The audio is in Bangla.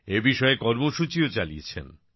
এ বিষয়ে কর্মসূচিও চালিয়েছেন